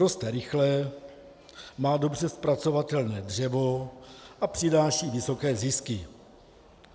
Roste rychle, má dobře zpracovatelné dřevo a přináší vysoké zisky.